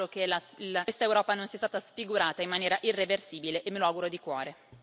Mi auguro che questa Europa non sia stata sfigurata in maniera irreversibile e me lo auguro di cuore.